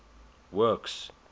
works